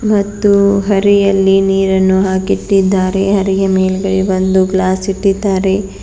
ಮತ್ತು ಹರಿಯಲ್ಲಿ ನೀರನ್ನು ಹಾಕಿಟ್ಟಿದ್ದಾರೆ ಹರಿಯ ಮೇಲ್ಗಡೆ ಒಂದು ಗ್ಲಾಸ್ ಇಟ್ಟಿದ್ದಾರೆ.